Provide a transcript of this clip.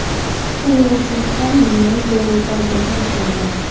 Shuning uchun men Jo Bayden tarafdoriman.